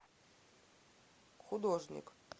художник